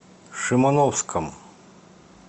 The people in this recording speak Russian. шимановском